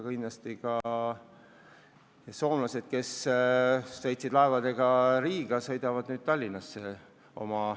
Kindlasti need soomlased, kes on laevaga Riiga sõitnud, sõidavad edaspidi Tallinnasse oste tegema.